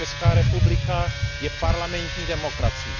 Česká republika je parlamentní demokracií.